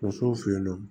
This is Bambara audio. Musow fe yen nɔ